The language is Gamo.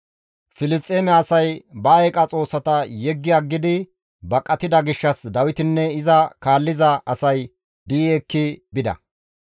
Filisxeeme asay ba eeqa xoossata yeggi aggidi baqatida gishshas Dawitinne iza kaalliza asay di7i ekki bida.